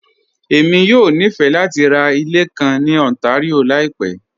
Èmi yọ̀ ní fẹ̀ lati rá ilẹ̀ kàn ní Ontario laípẹ̀